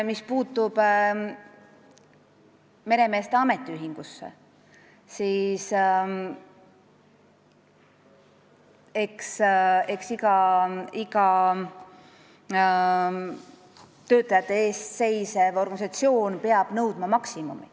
Mis puutub meremeeste ametiühingusse, siis iga töötajate eest seisev organisatsioon peab nõudma maksimumi.